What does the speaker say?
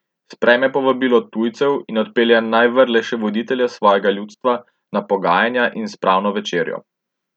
Sprejme povabilo tujcev in odpelje najvrlejše voditelje svojega ljudstva na pogajanja in spravno večerjo.